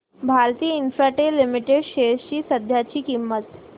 Bharti Infratel limited shares ची सध्याची किंमत